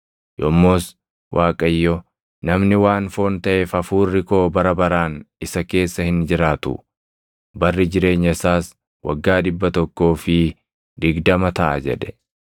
Yommus Waaqayyo, “Namni waan foon taʼeef Hafuurri koo bara baraan isa keessa hin jiraatu; barri jireenya isaas waggaa dhibba tokkoo fi digdama taʼa” jedhe.